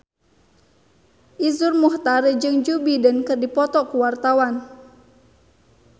Iszur Muchtar jeung Joe Biden keur dipoto ku wartawan